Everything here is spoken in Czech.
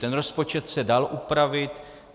Ten rozpočet se dal upravit.